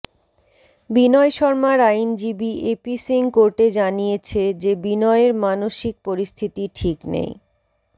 বিনয় শর্মার আইনজীবী এপি সিং কোর্টে জানিয়েছে যে বিনয়ের মানসিক পরিস্থিতি ঠিক নেই